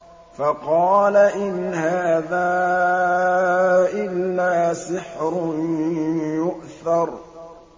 فَقَالَ إِنْ هَٰذَا إِلَّا سِحْرٌ يُؤْثَرُ